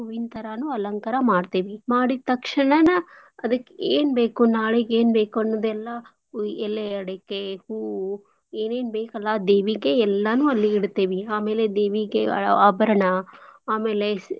ಹೂವಿನ್ ತರಾನೂ ಅಲಂಕಾರಾ ಮಾಡ್ತೇವಿ. ಮಾಡಿದ್ ತಕ್ಷಣಾನ ಅದಕ್ಕ್ ಏನ್ಬೇಕು ನಾಳಿಗ್ ಏನ್ಬೇಕು ಅನ್ನೂದೇಲ್ಲಾ ಎಲೆ, ಅಡಿಕೆ, ಹೂವು ಏನೇನ್ ಬೇಕ್ ಅಲ್ಲಾ ದೇವಿಗೆ ಎಲ್ಲಾನೂ ಇಡ್ತೇವಿ. ಆಮೇಲೆ ದೇವಿಗೆ ಆಭರ್ಣಾ ಆಮೇಲೆ.